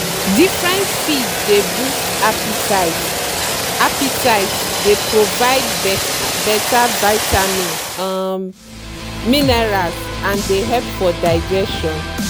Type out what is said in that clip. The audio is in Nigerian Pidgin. different feeds dey boost appetite appetite dey provide better vitamin um minerals and dey help for digestion.